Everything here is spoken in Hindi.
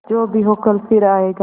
जो भी हो कल फिर आएगा